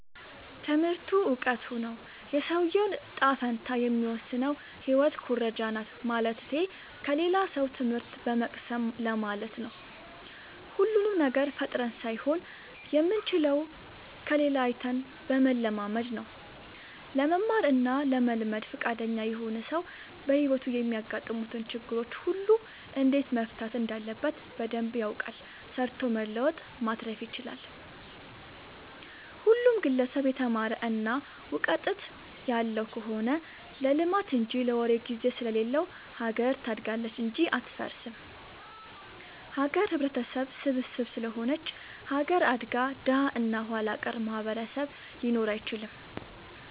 ትምህርቱ እውቀቱ ነው። የሰውዬውን ጣፈንታ የሚወስነው ህይወት ኩረጃናት ማለትቴ ከሌላ ሰው ትምህት በመቅሰም ለማለት ነው። ሁሉንም ነገር ፈጥረን ሳይሆን የምንችለው ከሌላ አይተን በመለማመድ ነው። ለመማር እና ለመልመድ ፍቃደኛ የሆነ ሰው በህይወቱ የሚያጋጥሙትን ችግሮች ሁሉ እንዴት መፍታት እንዳለበት በደንብ ያውቃል ሰርቶ መለወጥ ማትረፍ ይችላል። ሁሉም ግለሰብ የተማረ እና ውቀጥት ያለው ከሆነ ለልማት እንጂ ለወሬ ግዜ ስለሌለው ሀገር ታድጋለች እንጂ አትፈርስም። ሀገር ህብረተሰብ ስብስብ ስለሆነች ሀገር አድጋ ደሀ እና ኋላቀር ማህበረሰብ ሊኖር አይችልም።